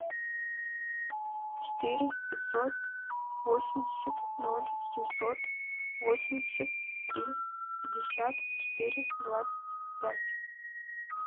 четыре пятьсот восемьдесят ноль семьсот восемьдесят три пятьдесят четыре двадцать пять